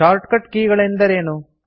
shortcut key ಗಳೆಂದರೇನು